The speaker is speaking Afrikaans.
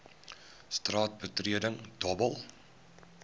straat betreding dobbel